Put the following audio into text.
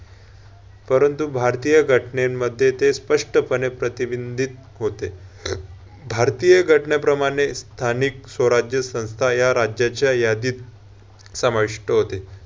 परंतु भारतीय घटनेंमध्ये ते स्पष्टपणे प्रतिबिंदीत होते. भारतीय घटनेप्रमाणे स्थानिक स्वराज्य संस्था या राज्याच्या यादीत समाविष्ट होते.